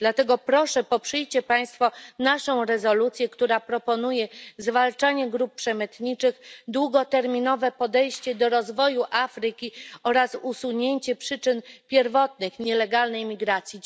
Dlatego proszę poprzyjcie państwo naszą rezolucję, która proponuje zwalczanie grup przemytniczych, długoterminowe podejście do rozwoju Afryki oraz usunięcie przyczyn pierwotnych nielegalnej imigracji.